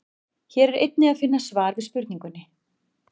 Hér er einnig að finna svar við spurningunni: